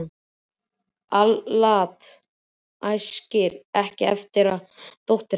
Al-Lat æskir ekki eftir að verða dóttir hans.